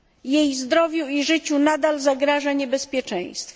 Jej zdrowiu i życiu nadal zagraża niebezpieczeństwo.